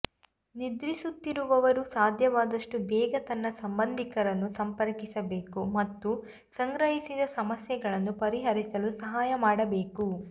ನಿದ್ರಿಸುತ್ತಿರುವವರು ಸಾಧ್ಯವಾದಷ್ಟು ಬೇಗ ತನ್ನ ಸಂಬಂಧಿಕರನ್ನು ಸಂಪರ್ಕಿಸಬೇಕು ಮತ್ತು ಸಂಗ್ರಹಿಸಿದ ಸಮಸ್ಯೆಗಳನ್ನು ಪರಿಹರಿಸಲು ಸಹಾಯ ಮಾಡಬೇಕು